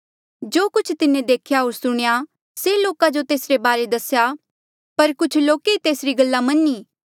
जो कुछ तिन्हें देख्या होर सुणेया से लोका जो तेसरे बारे दसेया पर कुछ लोक ई तेसरी गल्ला मन्नी